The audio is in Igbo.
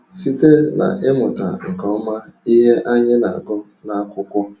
Site n’ịmụta nke ọma ihe anyị na-agụ n’akwụkwọ.